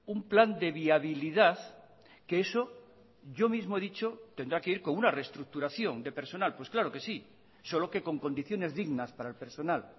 un plan de viabilidad que eso yo mismo he dicho tendrá que ir con una reestructuración de personal pues claro que sí solo que con condiciones dignas para el personal